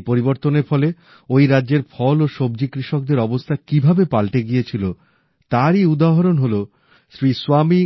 এই পরিবর্তনের ফলে ওই রাজ্যের ফল ও সব্জি কৃষকদের অবস্থা কিভাবে পাল্টে গিয়েছিল তারই উদাহরণ হল শ্রী স্বামী